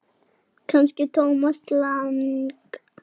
Kannski Thomas Lang.?